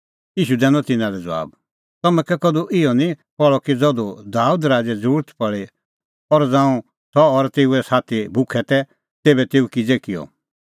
ईशू दैनअ तिन्नां लै ज़बाब तम्हैं कै कधू इहअ निं पहल़अ कि ज़धू दाबेद राज़ै ज़रुरत पल़ी और ज़ांऊं सह और तेऊए साथी भुखै तै तेभै तेऊ किज़ै किअ